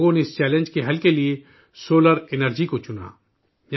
لوگوں نے اس چنوتی کے حل کے لیے سولر انرجی کا انتخاب کیا